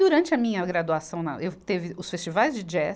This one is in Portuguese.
Durante a minha graduação, na, eu teve os festivais de jazz,